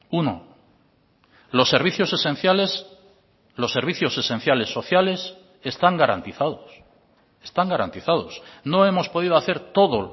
uno los servicios esenciales los servicios esenciales sociales están garantizados están garantizados no hemos podido hacer todo